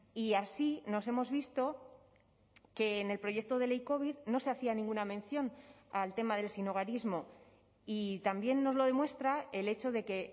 y así nos hemos visto que en el proyecto de ley covid no se hacía ninguna mención al tema del sinhogarismo y también nos lo demuestra el hecho de que